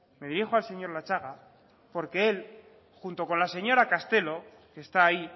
me dirijo al señor latxaga porque él junto con la señora castelo que está ahí